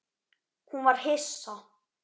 Hún var hissa.